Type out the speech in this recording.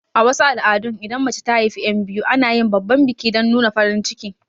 A wasu al'adun idan mace ta haifi yan biyu ana yin babban biki dan nuna farin cikin